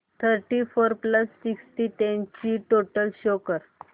thirty four plus sixty eight ची total show कर